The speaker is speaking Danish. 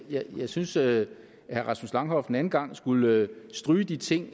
jeg jeg synes at herre rasmus langhoff en anden gang skulle stryge de ting